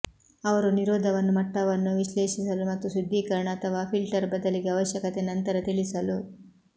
ಅವರು ನಿರೋಧವನ್ನು ಮಟ್ಟವನ್ನು ವಿಶ್ಲೇಷಿಸಲು ಮತ್ತು ಶುದ್ಧೀಕರಣ ಅಥವಾ ಫಿಲ್ಟರ್ ಬದಲಿಗೆ ಅವಶ್ಯಕತೆ ನಂತರ ತಿಳಿಸಲು